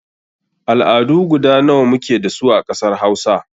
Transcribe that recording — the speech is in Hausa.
Al'adu guda nawa muke dasu a ƙasar Hausa?